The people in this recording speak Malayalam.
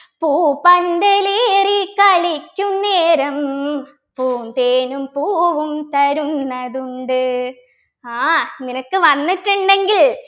പൂപ്പന്തലേറിക്കളിക്കുന്നേരം പൂന്തേനും പൂവും തരുന്നതുണ്ട് ആഹ് നിനക്ക് വന്നിട്ടുണ്ടെങ്കിൽ